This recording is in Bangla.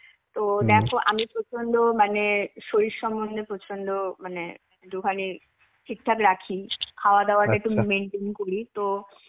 তো দেখো আমি প্রচন্ড মানে শরীর সমন্ধে প্রচন্ড মানে একটুখানি ঠিকঠাক রাখি. খাওয়া দাওয়াটা একটু maintain করি তো,